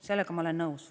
Sellega ma olen nõus.